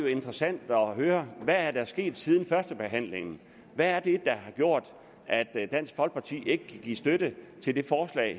interessant at høre hvad der er sket siden førstebehandlingen hvad er det der har gjort at dansk folkeparti ikke kan give støtte til det